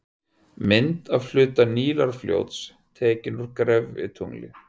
Mynd af hluta Nílarfljóts, tekin úr gervitungli.